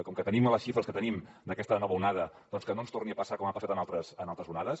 com que tenim les xifres que tenim d’aquesta nova onada doncs que no ens torni a passar com ha passat en altres onades